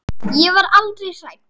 Ég var aldrei hrædd.